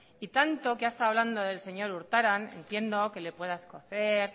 y tanto que ha estado hablando del señor urtaran entiendo que le pueda escocer